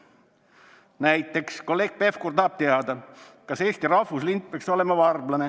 Näiteks tahab kolleeg Pevkur teada, kas Eesti rahvuslind peaks olema varblane.